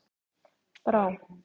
Brá